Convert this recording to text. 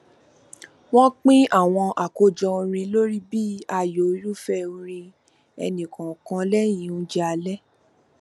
wọn pín àwọn àkójọ orin lórí bí ààyò irúfẹ orin ẹnìkọọkan lẹyìn oúnjẹ alẹ